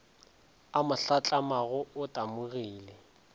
a mo hlatlamago o tamogile